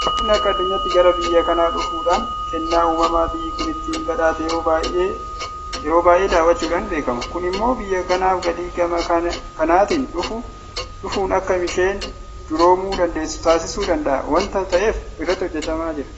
Daawwattoonni akka addunyaatti gara biyya kanaa dhufuudhaan kennaa uumamaa biyyi kun ittiin badhaate yeroo baay'ee daawwachuudhaan beekamu. Kun immoo biyya kanaaf galii gama kanaatiin dhufuun akka isheen duroomuu dandeessu taasisuu danda'a waanta ta'eef irratti hojjetamaa jira.